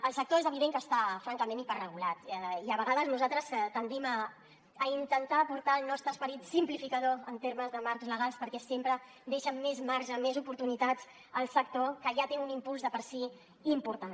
el sector és evident que està francament hiperregulat i a vegades nosaltres tendim a intentar portar el nostre esperit simplificador en termes de marcs legals perquè sempre deixen més marge més oportunitats al sector que ja té un impuls per si mateix important